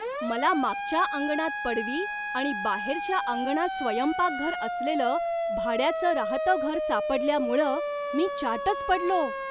मला मागच्या अंगणात पडवी आणि बाहेरच्या अंगणात स्वयंपाकघर असलेलं भाड्याचं राहतं घर सापडल्यामुळं मी चाटच पडलो.